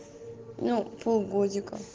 ну пол годика